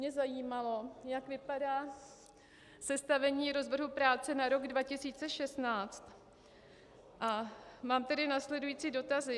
Mě zajímalo, jak vypadá sestavení rozvrhu práce na rok 2016, a mám tedy následující dotazy.